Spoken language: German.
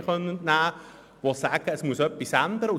Sie konnten dies auch den Medien entnehmen.